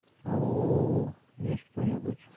ау есть кто-нибудь